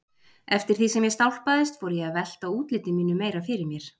Eftir því sem ég stálpaðist fór ég að velta útliti mínu meira fyrir mér.